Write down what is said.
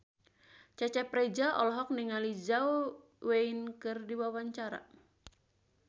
Cecep Reza olohok ningali Zhao Wei keur diwawancara